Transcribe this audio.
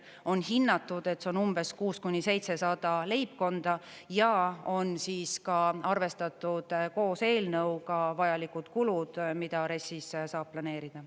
On hinnatud, et see on umbes 600–700 leibkonda, ja on ka arvestatud koos eelnõuga vajalikud kulud, mida RES-is saab planeerida.